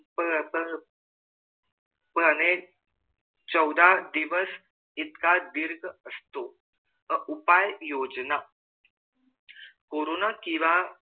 पणे चौदा दिवस इतका दीर्घ असतो उपाय योजना कोरोना